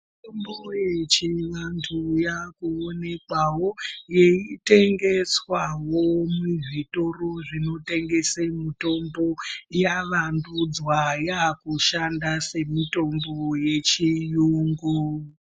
Mitombo yechivantu yakuonekwawo yeitengeswawo muzvitoro zvinotengese mitombo yavandudzwa yakushanda semitombo yechiyungu.